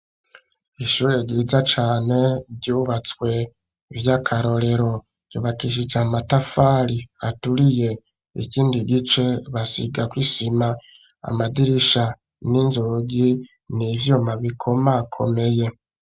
Ishure ryiza cane, ryubatswe vy'akarorero; ryubakishije amatafari aturiye, ikindi gice basigako isima; amadirisha n'inzugi ni ivyuma bikomakomeye.